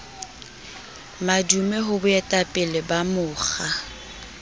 madume ho boetapele ba mokga